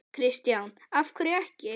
Kristján: Af hverju ekki?